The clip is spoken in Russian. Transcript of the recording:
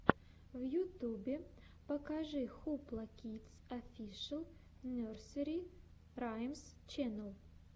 в ютюбе покажи хупла кидс офишэл нерсери раймс ченнел